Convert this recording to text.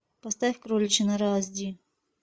поставь кроличья нора аш ди